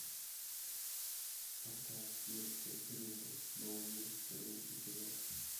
портал юрского периода новый мир первый эпизод